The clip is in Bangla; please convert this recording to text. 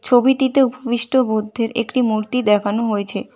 ছবিটিতে বিষ্ট বুদ্ধের একটি মূর্তি দেখানো হয়েছে।